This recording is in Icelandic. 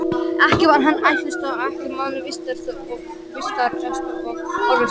Ekki var hann ættstór og allra manna vitrastur og orðspakastur.